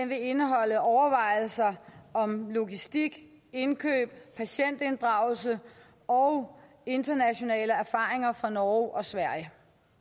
vil indeholde overvejelser om logistik indkøb patientinddragelse og internationale erfaringer fra norge og sverige